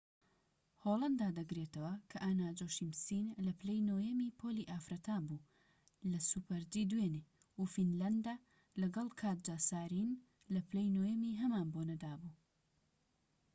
هۆلەندا دەگرێتەوە کە ئانا جۆشیمسین لە پلەی نۆیەمی پۆلی ئافرەتان بوو لە سوپەر جی دوێنێ و فینلەندە لەگەڵ کاتجا سارینین لە پلەی نۆیەمی هەمان بۆنەدا بوو